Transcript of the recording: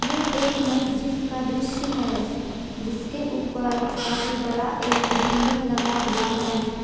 यह एक मस्जिद का दृश्य है जिसके ऊपर काफी बड़ा एक गुंबद लगा हुआ है।